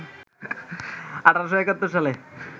১৮৭১ সালে